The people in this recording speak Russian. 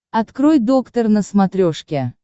открой доктор на смотрешке